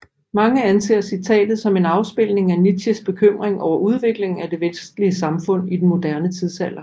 Mange anser citatet som en afspejling af Nietzsches bekymring over udviklingen af det vestlige samfund i den moderne tidsalder